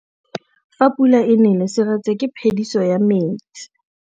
Fa pula e nelê serêtsê ke phêdisô ya metsi.